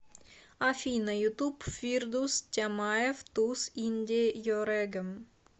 афина ютуб фирдус тямаев туз инде йорэгем